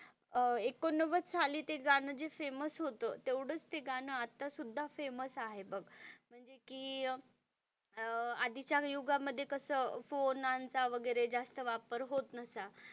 अह एकोणनव्वद साली ते गाणं जे फेमस होत तेवढंच ते गाणं आत्ता सुद्धा फेमस आहे बघ म्हणजे कि अह आधीच्या युगामध्ये कस फोन चा जास्त वापर होत नव्हता.